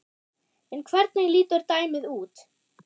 En hvernig lítur dæmið út?